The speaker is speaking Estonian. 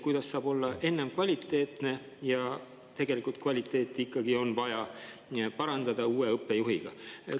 Kuidas saab olla nii, et enne on kvaliteetne, aga tegelikult on kvaliteeti ikkagi vaja parandada uue õppejuhiga?